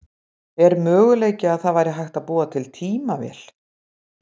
Er möguleiki að það væri hægt að búa til tímavél?